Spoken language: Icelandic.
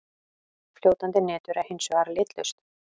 Fljótandi nitur er hins vegar litlaust.